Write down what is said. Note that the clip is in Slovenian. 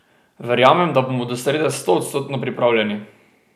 Verjamem, da bomo do srede stoodstotno pripravljeni.